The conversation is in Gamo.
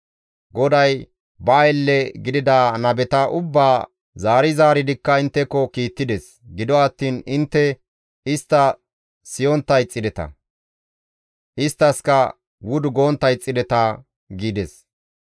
«GODAY ba aylle gidida nabeta ubbaa zaari zaaridikka intteko kiittides; gido attiin intte istta siyontta ixxideta; isttaskka wudu gontta ixxideta» gides.